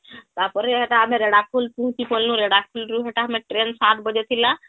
ତାପରେ ହେଟା ଆମେ ରେଢ଼ା ଖୁଲ ରୁ ପହଂଚି ଗଲୁ , ରେଢ଼ାଖୁଲ ରୁtrain ସାତ ବଜେ ଥିଲା